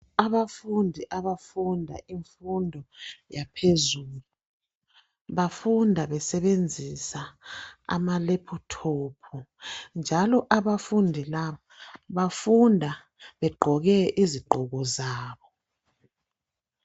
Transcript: abafundi abafunda imfundo yaphezulu bafunda besebenzisa ama laptop njalo abafundi labo bafunda begqoke impahla zabo